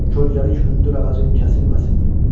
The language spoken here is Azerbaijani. Kölgəli hündür ağacın kəsilməsin.